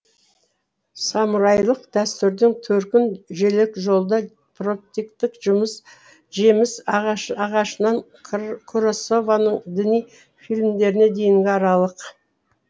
самурайлық дәстүрдің төркін жілікжолда тропиктік жеміс ағашынан куросаваның діни фильмдеріне дейінгі аралық